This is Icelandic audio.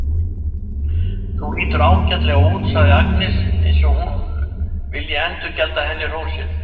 Þú lítur líka ágætlega út, segir Agnes eins og hún vilji endurgjalda henni hrósið.